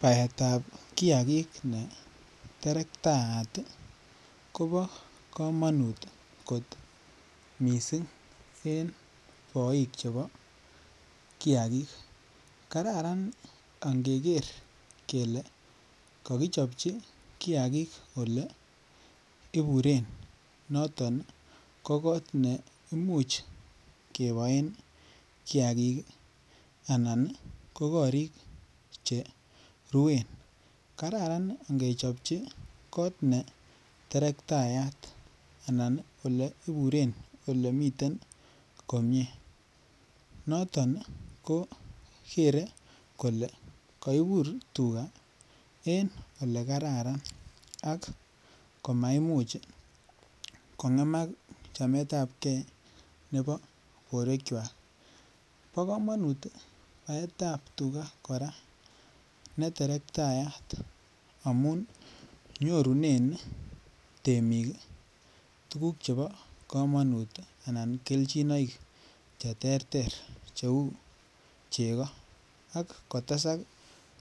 Betab kiagik ne terekataat kobo komonut kot missing en boik chebo kiagik kararan angeger kele kokichoji kiagik ole iburen noton ko kot ne imuch keboen kiagik ii anan ko korik che ruen kararan ngechobji kot ne terektayat ana iburen ole miten komie noton ii ko keree kole koibur tuga en ole kararan ak komaimuch kongemak chametab gee nebo borwekwak. Bo komonut baetab tuga koraa ne terektayat amun nyorunen temik ii tuguk chebo komonut anan kelchinoik che terter che uu chego ak kotesak